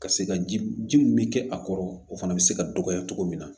Ka se ka ji min bɛ kɛ a kɔrɔ o fana bɛ se ka dɔgɔya cogo min na